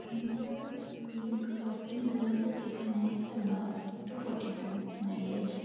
এখানটায় road crossing দেওয়া আছে যেখানে একটা বাস টু ফর্টি টু দাঁড়িয়ে আছে।